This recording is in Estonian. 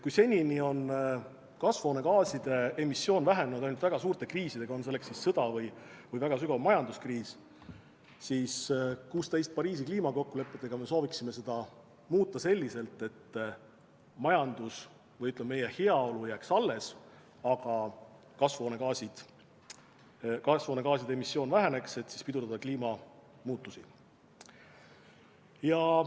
Kui senini on kasvuhoonegaaside emissioon vähenenud ainult väga suurte kriiside ajal – on siis tegu sõjaga või väga sügava majanduskriisiga –, siis Pariisi kliimakokkulepetega me sooviksime seda muuta selliselt, et majandus või, ütleme, meie heaolu jääks alles, aga kasvuhoonegaaside emissioon väheneks, et pidurdada kliimamuutusi.